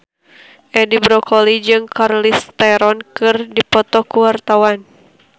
Edi Brokoli jeung Charlize Theron keur dipoto ku wartawan